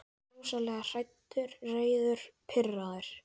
Ég er rosalega hræddur, reiður, pirraður.